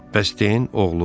Bəs den oğlu?